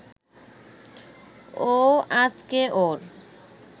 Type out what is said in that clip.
ও আজকে ওর